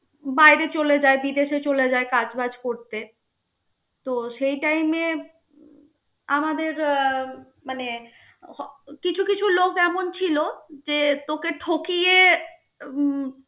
বাইরে চলে যায়, বিদেশে চলে যায়. কাজ বাজ করতে তো সেই time এ আমাদের মানে হ~ কিছু কিছু লোকজন এমন ছিল যে তোকে ঠকিয়ে